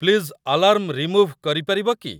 Please alarm remove କରିପାରିବ କି?